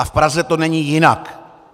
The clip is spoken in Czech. A v Praze to není jinak.